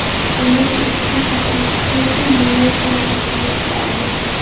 Bungacha ushbu ko‘rsatkich bo‘yicha Nyu-York yetakchilik qilardi.